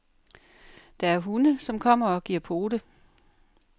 Der er hunde, som kommer og giver pote.